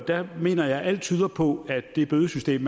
der mener jeg alt tyder på at det bødesystem